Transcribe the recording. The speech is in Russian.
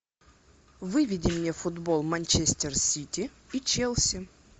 выведи мне футбол манчестер сити и челси